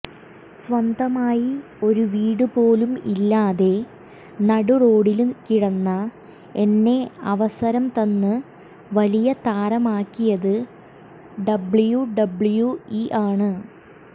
സ്വന്തമായി ഒരു വീടുപോലും ഇല്ലാതെ നടു റോഡില് കിടന്ന എന്നെ അവസരം തന്ന് വലിയ താരമാക്കിയത് ഡബ്ല്യുഡബ്ല്യുഇ ആണ്